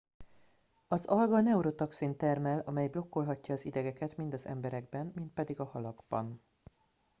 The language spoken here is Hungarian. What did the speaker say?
az alga neurotoxint termel amely blokkolhatja az idegeket mind az emberekben mind pedig a halakban